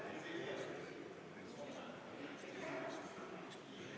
Kas Riigikogu liikmetel on hääletamise korraldamise kohta proteste?